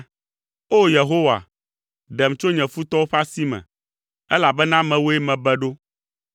O! Yehowa, ɖem tso nye futɔwo ƒe asi me, elabena mewòe mebe ɖo.